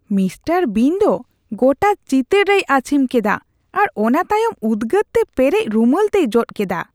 Mister Bean ᱫᱚ ᱜᱚᱴᱟ ᱪᱤᱛᱟᱹᱨ ᱨᱮᱭ ᱟᱹᱪᱷᱤᱢ ᱠᱮᱫᱟ ᱟᱨ ᱚᱱᱟ ᱛᱟᱭᱚᱢ ᱩᱫᱜᱟᱹᱨᱛᱮ ᱯᱮᱨᱮᱡ ᱨᱩᱢᱟᱹᱞ ᱛᱮᱭ ᱡᱚᱫ ᱠᱮᱫᱟ ᱾